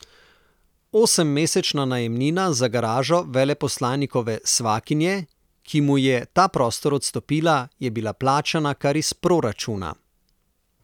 Osemmesečna najemnina za garažo veleposlanikove svakinje, ki mu je ta prostor odstopila, je bila plačana kar iz proračuna.